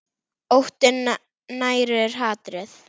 Óttinn nærir hatrið.